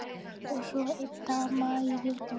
Og svo ein dama í viðbót.